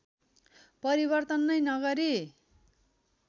परिवर्तन नै नगरी